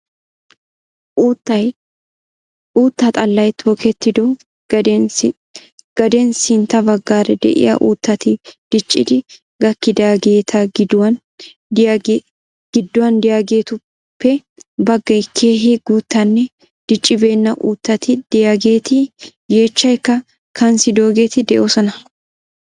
Uutta xallay tokettido gaden sintta baggaara de'iyaa uuttati diccidi gakkidaageeta gidduwan de'iyaageetuppe baaggay keehi guuttanne diccibeenna uuttati de'iyaageeti yeechchaykka kanssidoogeti de'oosona.